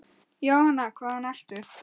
Jóhanna: Hvaðan ertu?